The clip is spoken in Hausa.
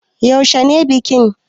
Yaushe ne bikin?